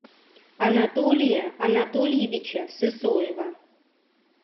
анатолия анатольевича сысоева